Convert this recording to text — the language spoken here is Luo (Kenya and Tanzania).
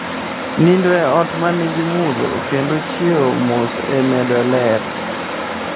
Nindo e ot ma nigi mudho kendo chiew mos e imedo ler.